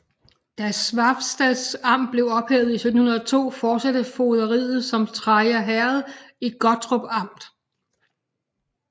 Da Svavsted Amt blev ophævet i 1702 fortsatte fogderiet som Treja Herred i Gottorp Amt